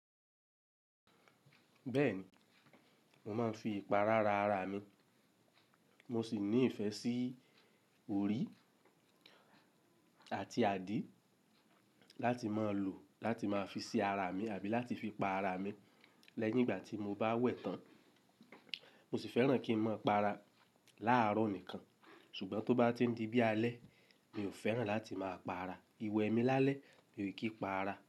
Bẹ́ẹ̀ni, mo máa ń fi ìpara ra ara mi. Mo sì ní ìfẹ́ sí orí àti adìẹ láti máa lò láti máa fi ṣi ara mi àbí láti fi pa ara mi. Lẹ́yìn ìgbà tí mo bá wẹ̀ tán, mo sì fẹ́ràn kí n máa pa ara láàrọ̀ nìkan. Ṣùgbọ́n tó bá ti ń di bí alẹ́, mi ò fẹ́ràn láti máa pa ara. Iwe mi lálẹ́, mi ò kí n pa ara.